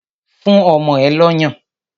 Fún ọmọ ẹ lọ́yàn!